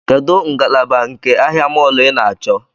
Kedụ ngalaba nke ahịa mọọlụ ị na-achọ?